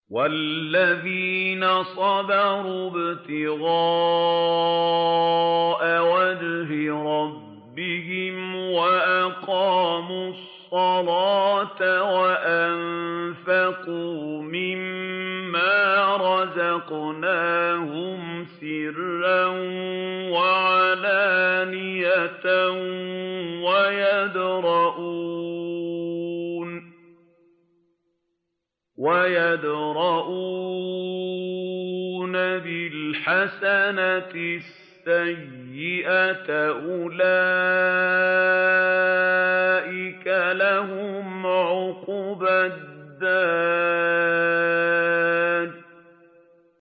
وَالَّذِينَ صَبَرُوا ابْتِغَاءَ وَجْهِ رَبِّهِمْ وَأَقَامُوا الصَّلَاةَ وَأَنفَقُوا مِمَّا رَزَقْنَاهُمْ سِرًّا وَعَلَانِيَةً وَيَدْرَءُونَ بِالْحَسَنَةِ السَّيِّئَةَ أُولَٰئِكَ لَهُمْ عُقْبَى الدَّارِ